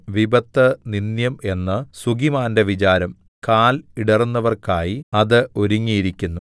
വിപത്ത് നിന്ദ്യം എന്ന് സുഖിമാന്റെ വിചാരം കാൽ ഇടറുന്നവർക്കായി അത് ഒരുങ്ങിയിരിക്കുന്നു